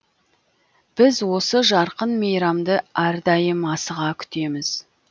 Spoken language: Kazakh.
біз осы жарқын мейрамды әрдайым асыға күтеміз